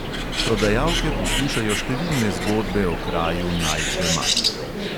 Prodajalke poslušajo številne zgodbe o kraju najdbe mark.